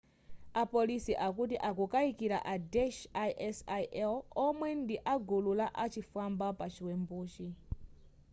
a polisi akuti akukaikila a daesh isil omwe ndi agulu la uchifwamba pa chiwembuchi